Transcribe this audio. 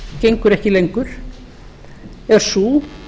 gengur ekki lengur er sú